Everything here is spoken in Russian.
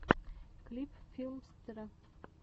клип филмстера